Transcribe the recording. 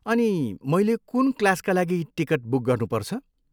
अनि मैले कुन क्लासका लागि टिकट बुक गर्नुपर्छ?